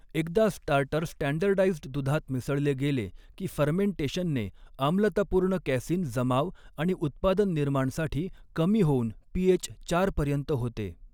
एकदा starter standardised दुधात मिसळले गेले की फर्मे़टेशनने आम्लतापूर्ण कॅसिन जमाव आणि उत्पादन निर्माणसाठी कमी होऊन पीएच चार पर्यंत होते.